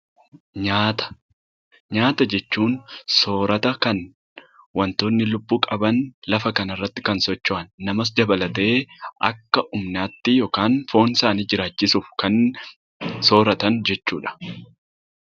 Nyaata jechuun soorata kan wantoonni lubbuu qabaan lafa kanarratti kana socho'an namas dabalatee akka humnaatti yookaan foonsaanii jiraachisuuf kan sooratan jechuudha.